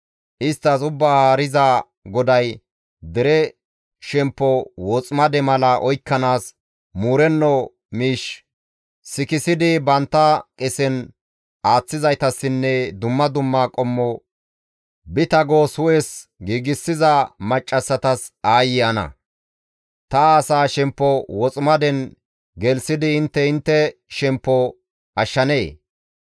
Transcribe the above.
Isttas Ubbaa Haariza GODAY, ‹Dere shemppo woximade mala oykkanaas muurenno miish sikissidi bantta qesen aaththizaytassinne dumma dumma qommo bita goos hu7es giigsiza maccassatas aayye ana! Ta asaa shemppo woximaden gelththidi intte intte shemppo ashshanee?